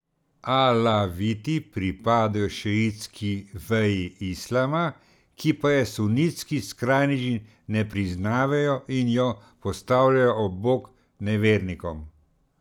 Alaviti pripadajo šiitski veji islama, ki pa je sunitski skrajneži ne priznavajo in jo postavljajo ob bok nevernikom.